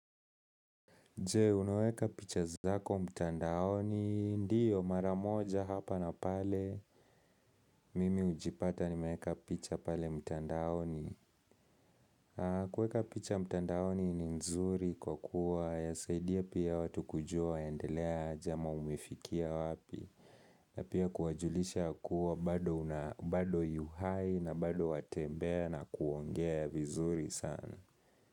Je, unaweka picha zako mtandaoni, ndio maramoja hapa na pale, mimi hujipata nimeweka picha pale mtandaoni. Kueka picha mtandaoni ni nzuri kwa kuwa, yasaidia pia watu kujua waendelea aje ama umefikia wapi, na pia kuwajulisha kuwa bado una bado yuhai na bado watembea na kuongea vizuri sana.